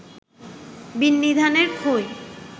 বিন্নিধানের খই